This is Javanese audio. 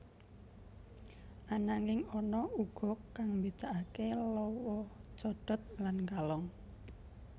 Ananging ana uga kang mbedakaké lawa codot lan kalong